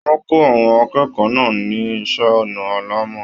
Wọn kọ àwọn akẹ́kọ̀ọ́ náà ní iṣẹ ọnà alàmọ́.